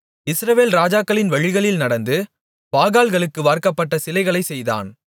இஸ்ரவேல் ராஜாக்களின் வழிகளில் நடந்து பாகால்களுக்கு வார்க்கப்பட்ட சிலைகளைச் செய்தான்